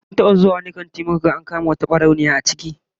Mun taba zuwa wani kanti muka ga an kama wata barauniya a ciki